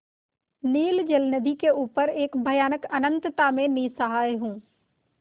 नील जलनिधि के ऊपर एक भयानक अनंतता में निस्सहाय हूँ